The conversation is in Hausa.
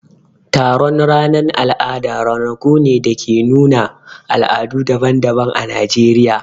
Taron ranan al'ada ranaku ne na nuna al'adu daban-daban ã Najeriya.